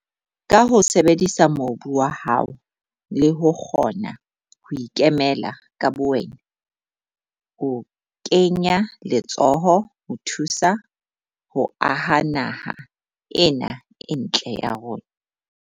Ka ho sebedisa mobu wa hao, le ho kgona ho ikemela ka bowena, o kenya letsoho ho thusa ho aha naha ena e ntle ya rona.